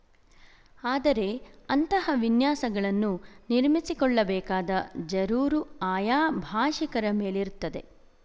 ಆದರೆ ಅಂತಹ ವಿನ್ಯಾಸಗಳನ್ನು ನಿರ್ಮಿಸಿಕೊಳ್ಳಬೇಕಾದ ಜರೂರು ಆಯಾ ಭಾಶಿಕರ ಮೇಲಿರುತ್ತದೆ